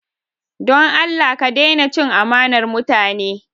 Don Allah ka daina cin amanar mutane!